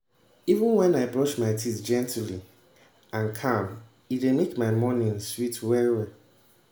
even when i brush my teeth gently and calm e dey make my morning sweet well